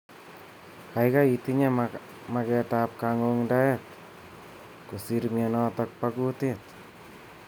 Kaikai itinye maket am kang'ungdaet kosir mnyetok bo kutit.